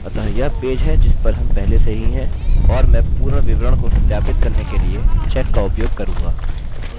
अतः यह पेज है जिस पर हम पहले से ही हैं और मैं पूर्ण विवरण को सत्यापित करने के लिए चेक का उपयोग करूँगा